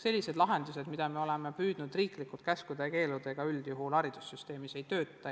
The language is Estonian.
Sellised lahendused, mida me oleme püüdnud riiklikult käskude ja keeldudega rakendada, üldjuhul haridussüsteemis ei tööta.